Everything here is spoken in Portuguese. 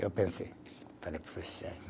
Eu pensei. Falei